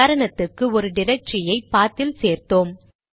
உதாரணத்துக்கு ஒரு டிரக்டரியை பாத் இல் சேர்த்தோம்